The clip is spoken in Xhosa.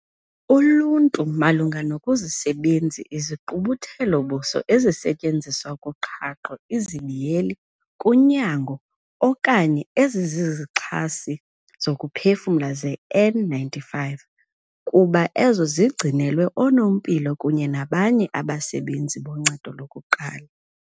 Uluntu malunga nokuzisebenzi izigqubuthelo-buso ezisetyenziswa kuqhaqho, kunyango, okanye ezizizixhasi zokuphefumla ze-N-95 kuba ezo zigcinelwa oonompilo kunye nabanye abasebenzi boncedo lokuqala.